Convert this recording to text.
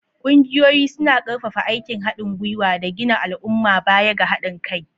Ƙungiyoyi suna ƙarfafa aikin haɗin gwiwa da gina al'umma baya ga haɗin kai.